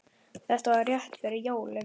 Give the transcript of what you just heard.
Þetta var rétt fyrir jólin.